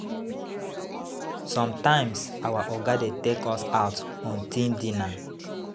Sometimes our Oga dey take us out on team dinner.